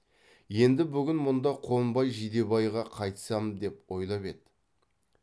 енді бүгін мұнда қонбай жидебайға қайтсам деп ойлап еді